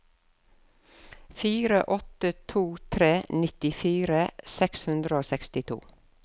fire åtte to tre nittifire seks hundre og sekstito